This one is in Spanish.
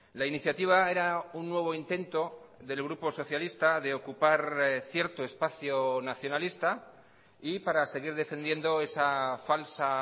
la iniciativa era un nuevo intento del grupo socialista de ocupar cierto espacio nacionalista y para seguir defendiendo esa falsa